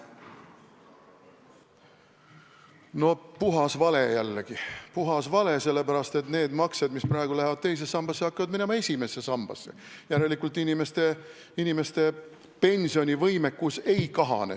No puhas vale jällegi, puhas vale, sest need maksed, mis praegu lähevad teise sambasse, hakkavad minema esimesse sambasse, järelikult inimeste pensionivõimekus ei kahane.